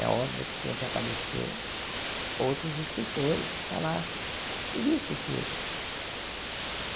É óbvio que tinha que aparecer outros escritores que falassem e visse que